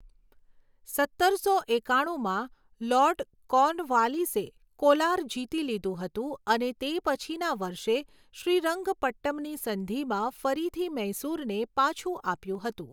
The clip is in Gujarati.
સત્તરસો એકાણુંમાં, લોર્ડ કોર્નવાલીસે કોલાર જીતી લીધું હતું અને તે પછીના વર્ષે શ્રીરંગપટ્ટમની સંધિમાં ફરીથી મૈસૂરને પાછું આપ્યું હતું.